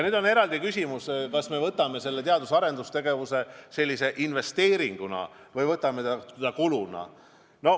Nüüd on eraldi küsimus, kas me võtame teadus- ja arendustegevuse raha investeeringuna või võtame seda kuluna.